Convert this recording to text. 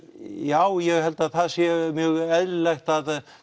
já ég held að það séu mjög eðlilegt að